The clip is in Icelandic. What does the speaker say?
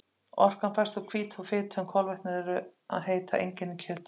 Orkan fæst úr hvítu og fitu en kolvetni eru að heita engin í kjöti.